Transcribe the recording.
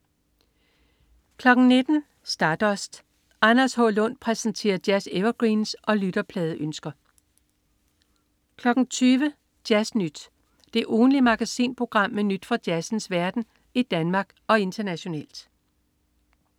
19.00 Stardust. Anders H. Lund præsenterer jazz-evergreens og lytterpladeønsker 20.00 Jazz Nyt. Det ugentlige magasinprogram med nyt fra jazzens verden i Danmark og internationalt